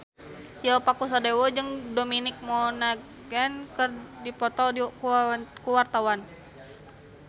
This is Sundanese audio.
Tio Pakusadewo jeung Dominic Monaghan keur dipoto ku wartawan